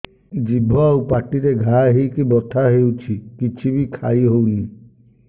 ଜିଭ ଆଉ ପାଟିରେ ଘା ହେଇକି ବଥା ହେଉଛି କିଛି ବି ଖାଇହଉନି